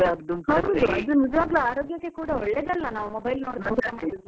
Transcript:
ಅದು ನಿಜ್ವಾಗ್ಲೂ ಕೂಡ ಆರೋಗ್ಯಕ್ಕೆ ಕೂಡ ಒಳ್ಳೇದಲ್ಲ, ನಾವ್ mobile ನೋಡುದು ಊಟ ಮಾಡುದಂತ.